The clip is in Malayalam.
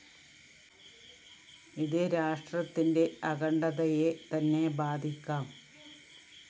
ഇത് രാഷ്ട്രത്തിന്റെ അഖണ്ഡതയെ തന്നെ ബാധിക്കാം